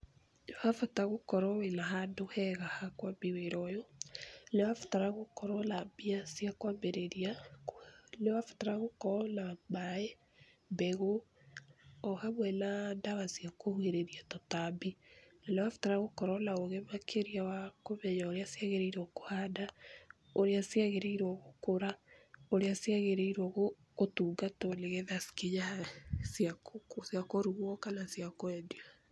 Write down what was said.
Ha bata gũkorwo wĩna handũ hega hakwambia wĩra ũyũ ,nĩũrabatara gũkorwa na mbia cia kwambĩrĩria, nĩ ũrabatara gũkorwo na maĩ, mbegũ, o hamwe na ndawa cia kũgirĩria tũtambi no ũrabatara gũkorwo na ũgĩ makĩria wa kũmenya ũrĩa ciagĩrĩrwo kũhanda, ũrĩa ciagĩrĩrwo gũkũra, ũrĩa cĩagĩrĩrwo gũtungatwo nĩgetha cikinye ha cia kũrugwa kana cia kwendia.